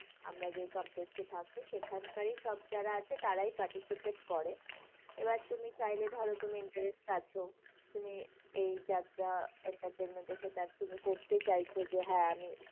আমরা যে complex এ থাকি সেখানকারই সব যারা আছে তারাই participate করে, এবার তুমি চাইলে ধরো তুমি interest আছো, তুমি এই যাত্রা entertainment এর সাথে add তুমি করতে চাইছো যে, হ্যাঁ আমি